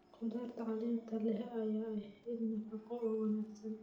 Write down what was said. Khudaarta caleenta leh ayaa ah il nafaqo oo wanaagsan.